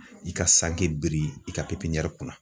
I ka sanke biri i ka pepiɲɛri kunna